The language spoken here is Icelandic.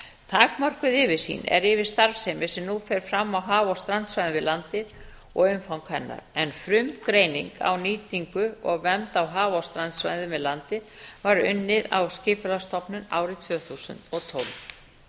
takmörkuð yfirsýn er yfir starfsemi sem nú fer fram á haf og strandsvæðum við landið og umfang hennar en frumgreining á nýtingu og vernd á haf og strandsvæðum við landið var unnin á skipulagsstofnun árið tvö þúsund og tólf